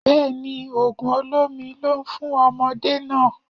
Bẹ́ẹ̀ni, ògùn olómi ló ń fún ọmọdé náà